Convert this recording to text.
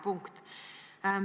Punkt.